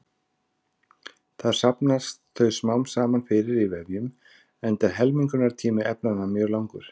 Þar safnast þau smám saman fyrir í vefjum enda er helmingunartími efnanna mjög langur.